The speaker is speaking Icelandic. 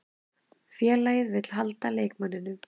Félagið vill halda leikmanninum.